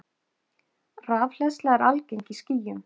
Rafhleðsla er algeng í skýjum.